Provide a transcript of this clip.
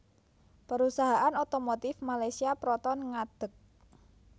Perusahaan otomotif Malaysia Proton ngadeg